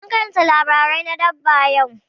Mun karanta labarai na dabba yau.